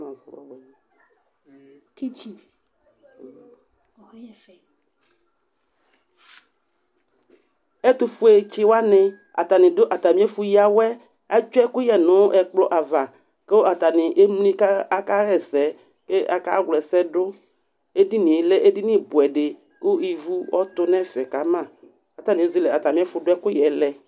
Ɛtʋfue tsiwani atani dʋ atami ɛfʋ yǝwɛ yɛ, etsue ɛkʋyɛ nʋ ɛkplɔ ava, kʋ atani emli ka aka hɛsɛ, k'aka wla ɛsɛ dʋ Edini yɛ kɛ edini bʋɛ di kʋ ivu ɔtʋ n'ɛfɛ kama, k'atani ezele atami ɛfʋ dʋ ɛkʋyɛ yɛ lɛ